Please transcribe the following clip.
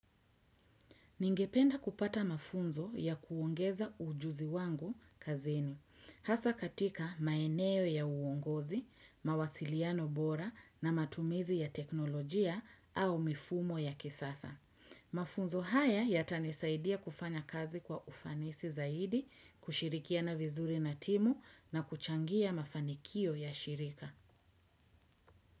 Ningependa kupata mafunzo ya kuongeza ujuzi wangu kazini. Hasa katika maeneo ya uongozi, mawasiliano bora na matumizi ya teknolojia au mifumo ya kisasa. Mafunzo haya yatanisaidia kufanya kazi kwa ufanisi zaidi, kushirikiana vizuri na timu na kuchangia mafanikio ya shirika.